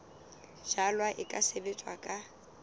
jalwa e ka sebetswa ka